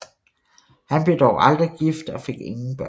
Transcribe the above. Han blev dog aldrig gift og fik ingen børn